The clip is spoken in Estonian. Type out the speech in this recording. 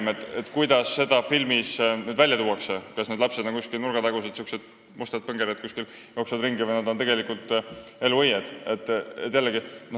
Huvitav, kuidas neid nüüd filmis esile tuuakse: kas need lapsed on niisugused nurgatagused mustad põngerjad, kes seal ringi jooksevad, või on nad tegelikult elu õied?